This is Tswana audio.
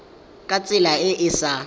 ka tsela e e sa